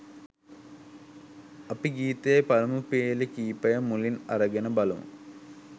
අපි ගීතයේ පළමු පේලි කීපය මුලින් අරගෙන බලමු.